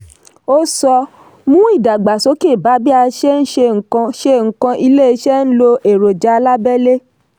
ó sọ: mú ìdàgbàsókè bá bí a ṣe ń ṣe nǹkan ṣe nǹkan iléeṣẹ́ n lo èròjà alábẹ́lé.